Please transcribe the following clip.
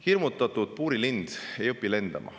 Hirmutatud puurilind ei õpi lendama.